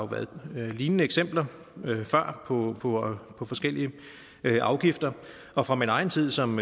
været lignende eksempler før på på forskellige afgifter og fra min egen tid som